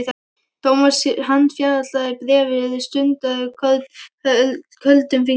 Thomas handfjatlaði bréfið stundarkorn, köldum fingrum.